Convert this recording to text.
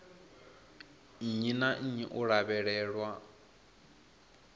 nnyi na nnyi u lavhelelwa